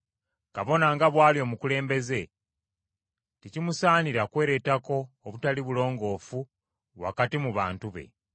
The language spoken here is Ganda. Kabona nga bw’ali omukulembeze, tekimusaanira kwereetako obutali bulongoofu wakati mu bantu be.